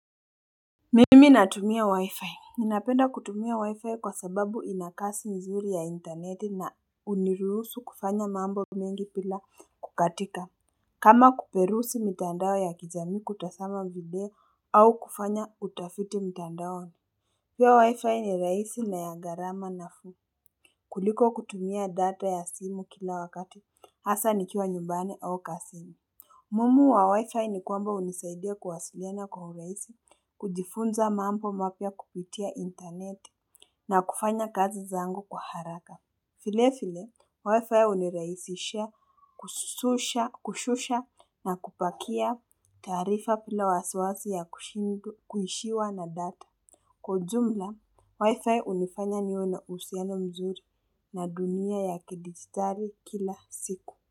Mimi natumia wi-fi ninapenda kutumia wi-fi kwa sababu inakasi mzuri ya interneti na unirulusu kufanya mambo mingi pila kukatika kama kuperusi mitandao ya kijamii kutasama video au kufanya utafiti mitandao hiyo wi-fi ni rahisi na ya gharama na fuu kuliko kutumia data ya simu kila wakati hasa nikiwa nyumbani au kazini muhimu wa wi-fi ni kwamba unisaidia kuwasiliana kwa urahisi, kujifunza mambo mapia kupitia internet na kufanya kazi zangu kwa haraka. Vile vile, wi-fi uniraisisha kushusha na kupakia taarifa bila wasawasi ya kuishiwa na data. Kwa ujumla, wi-fi unifanya niwe na uhusiana mzuri na dunia ya kidigitari kila siku.